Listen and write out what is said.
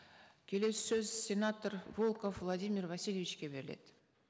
келесі сөз сенатор волков владимир васильевичке беріледі